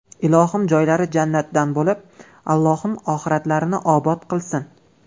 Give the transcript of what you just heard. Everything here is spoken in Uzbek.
Ilohim joylari jannatdan bo‘lib, Allohim oxiratlarini obod qilsin!